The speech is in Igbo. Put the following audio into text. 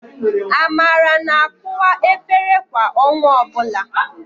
Amara na-akụwa efere kwa ọnwa ọbụla.